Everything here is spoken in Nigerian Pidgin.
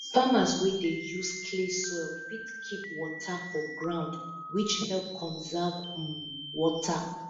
farmers wey dey use clay soil fit keep water for ground which help conserve um water